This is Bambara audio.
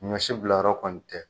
Ɲɔ si bila yɔrɔ kɔni tɛ.